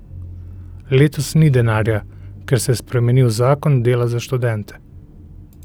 Letos ni denarja, ker se je spremenil zakon dela za študente.